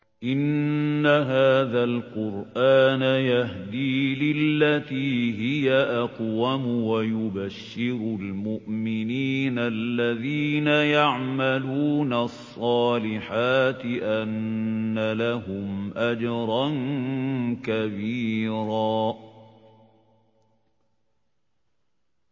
إِنَّ هَٰذَا الْقُرْآنَ يَهْدِي لِلَّتِي هِيَ أَقْوَمُ وَيُبَشِّرُ الْمُؤْمِنِينَ الَّذِينَ يَعْمَلُونَ الصَّالِحَاتِ أَنَّ لَهُمْ أَجْرًا كَبِيرًا